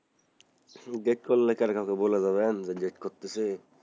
date করলে কারো কাছে বলে দেবেন যে date করতেছি,